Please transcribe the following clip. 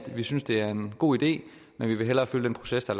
vi synes det er en god idé men vi vil hellere følge den proces der